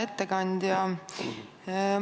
Hea ettekandja!